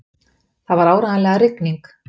Það var áreiðanlega rigning.